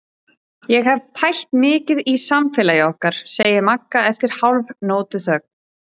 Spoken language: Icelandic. Ég hef pælt mikið í samfélagi okkar, segir Magga eftir hálfnótuþögn.